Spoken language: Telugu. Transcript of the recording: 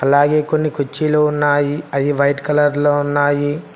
అలాగే కొన్ని కుర్చీలు ఉన్నాయి అయ్యి వైట్ కలర్లో ఉన్నాయి.